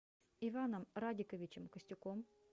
иваном радиковичем костюком